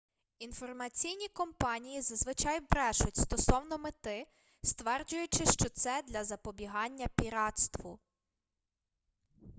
інформаційні компанії зазвичай брешуть стосовно мети стверджуючи що це для запобігання піратству